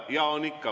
Jaa, on ikka.